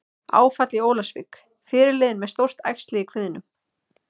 Áfall í Ólafsvík- Fyrirliðinn með stórt æxli í kviðnum